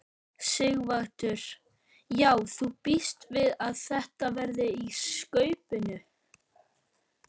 Sighvatur: Já þú bíst við að þetta verði í skaupinu?